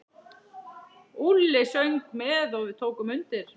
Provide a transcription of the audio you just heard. Úlli söng með og við tókum undir.